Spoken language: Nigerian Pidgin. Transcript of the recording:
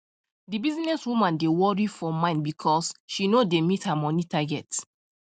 the business woman dey worry for for mind because she no dey meet her money target